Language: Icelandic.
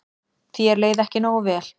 Þér leið ekki nógu vel.